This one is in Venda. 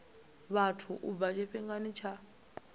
vhathu u bva tshifhingani tsha